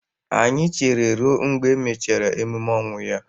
Anyị chere ruo mgbe e mechara emume ọnwụ ya